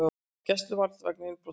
Í gæsluvarðhald vegna innbrota